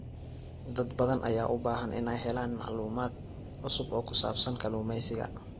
Dad badan ayaa u baahan inay helaan macluumaad cusub oo ku saabsan kalluumeysiga.